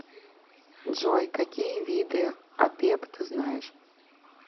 джой какие виды апеп ты знаешь